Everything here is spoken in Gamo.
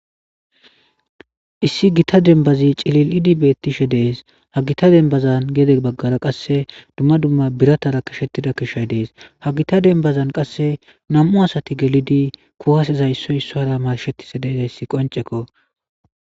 Issi gita denbazi cilil iidi bettishe dees ha gita dembazan gede baggara qasse dumma dumma biratara kishettida kishay dees ha gita dembazan qasse nam7u asati gelidi kuhaseza issoy issohara marshetise dezayssi qonceko